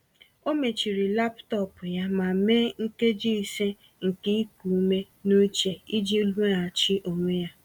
Ọ mechiri laptọọpụ ya ma mee nkeji ise nke iku ume n’uche iji weghachi onwe ya.